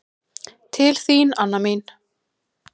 Til þín, Anna mín.